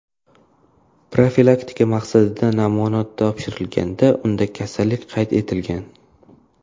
profilaktika maqsadida namuna topshirganda unda kasallik qayd etilgan.